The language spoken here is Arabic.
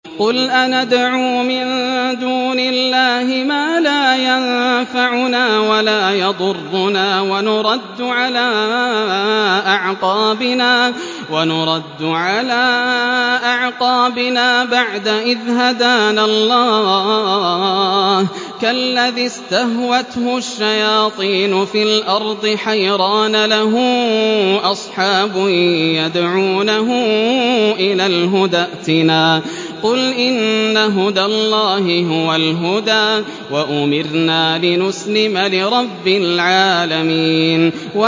قُلْ أَنَدْعُو مِن دُونِ اللَّهِ مَا لَا يَنفَعُنَا وَلَا يَضُرُّنَا وَنُرَدُّ عَلَىٰ أَعْقَابِنَا بَعْدَ إِذْ هَدَانَا اللَّهُ كَالَّذِي اسْتَهْوَتْهُ الشَّيَاطِينُ فِي الْأَرْضِ حَيْرَانَ لَهُ أَصْحَابٌ يَدْعُونَهُ إِلَى الْهُدَى ائْتِنَا ۗ قُلْ إِنَّ هُدَى اللَّهِ هُوَ الْهُدَىٰ ۖ وَأُمِرْنَا لِنُسْلِمَ لِرَبِّ الْعَالَمِينَ